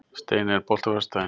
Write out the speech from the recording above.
Steiney, er bolti á föstudaginn?